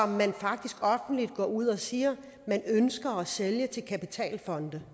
man faktisk offentligt går ud og siger man ønsker at sælge til kapitalfonde